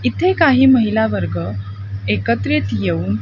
इथे काही महिलावर्ग एकत्रित येऊन--